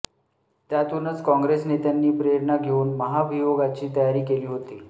त्यातूनच काँग्रेस नेत्यांनी प्रेरणा घेऊन महाभियोगाची तयारी केली होती